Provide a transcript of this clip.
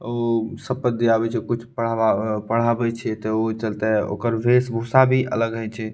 उ सब पे जे आबे छै कुछ पढ़वा पढ़ावे छै ते ओय चलते ओकर भेष भूषा भी अलग हेय छै।